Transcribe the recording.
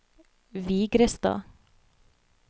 Vigrestad